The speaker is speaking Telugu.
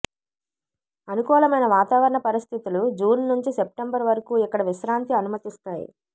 అనుకూలమైన వాతావరణ పరిస్థితులు జూన్ నుంచి సెప్టెంబరు వరకు ఇక్కడ విశ్రాంతి అనుమతిస్తాయి